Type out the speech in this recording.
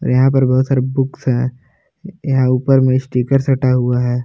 यहाँ पर बहुत सारे बुक्स है यहाँ ऊपर मे स्टिकर सटा हुआ है।